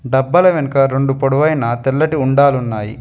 డబ్బాల వెనుక రెండు పొడవైన తెల్లటి ఉండాలు ఉన్నాయి.